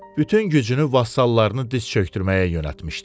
Bütün gücünü vassallarını diz çökdürməyə yönəltmişdi.